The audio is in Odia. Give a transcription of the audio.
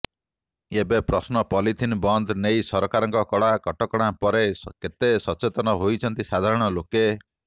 ଏବେ ପ୍ରଶ୍ନ ପଲିଥିନ ବନ୍ଦ ନେଇ ସରକାରଙ୍କ କଡ଼ା କଟକଣା ପରେ କେତେ ସଚେତନ ହୋଇଛନ୍ତି ସାଧାରଣ ଲୋକେ